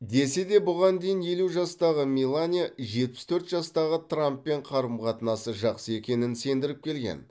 десе де бұған дейін елу жастағы мелания жетпіс төрт жастағы трамппен қарым қатынасы жақсы екеніне сендіріп келген